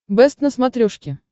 бэст на смотрешке